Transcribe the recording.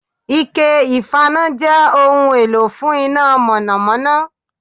Ike ìfaná jẹ́ ohun èlò fún iná mònòmónó